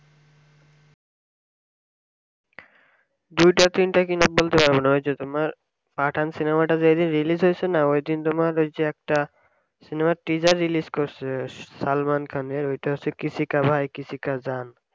দুইটা তিনটা কিনা বলতে পারসোনা ওই যে তোমার pathan সিনেমা টা যেই দিন release হয়েছে না ওই দিন তোমার ওই যে একটা সিনেমার treasure release করেসে salman khan এর ওইটা হচ্ছে kisi ka bhai kisi ki jaan